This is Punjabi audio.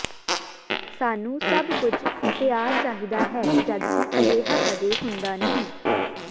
ਸਾਨੂੰ ਸਭ ਕੁਝ ਤਿਆਰ ਚਾਹੀਦਾ ਹੈ ਜਦਕਿ ਅਜਿਹਾ ਕਦੇ ਹੁੰਦਾ ਨਹੀਂ